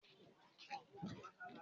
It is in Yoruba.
Ṣé oyin máa ta wọ́n lójú?